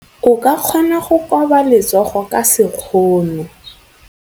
O ka kgona go koba letsogo ka sekgono.